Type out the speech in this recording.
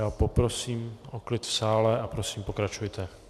Já poprosím o klid v sále a prosím, pokračujte.